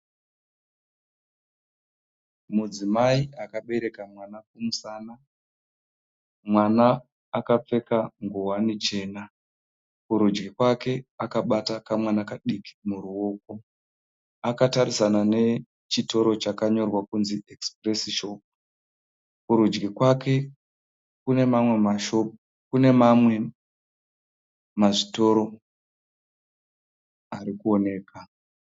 Mudzimai akabereka mwana kumusana, mwana akapfeka nguwani chena. Kurudyi kwake akabata kamwana kadiki muruoko, akatarisana nechitoro chakanyorwa kunzi 'Express shop '. Kurudyi kwake kune mamwe masitoro arikuoneka.